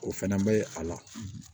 O fɛnɛ bɛ a la